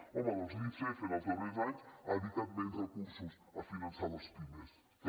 home doncs l’icf en els darrers anys ha dedicat menys recursos a finançar les pimes també